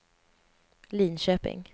Linköping